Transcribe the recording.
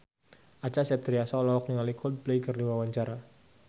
Acha Septriasa olohok ningali Coldplay keur diwawancara